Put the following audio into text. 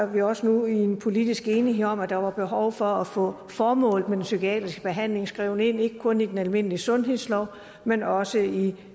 vi også nu en politisk enighed om at der var behov for at få formålet med den psykiatriske behandling skrevet ind ikke kun i den almindelige sundhedslov men også i